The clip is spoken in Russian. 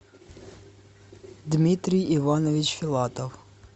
дмитрий иванович филатов